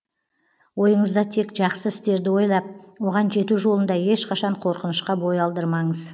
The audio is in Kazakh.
ойыңызда тек жақсы істерді ойлап оған жету жолында ешқашан қорқынышқа бой алдырмаңыз